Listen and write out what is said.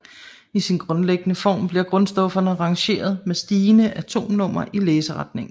I sin grundlæggende form bliver grundstofferne rangeret med stigende atomnummer i læseretningen